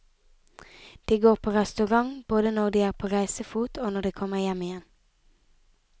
De går på restaurant både når de er på reisefot og når de kommer hjem igjen.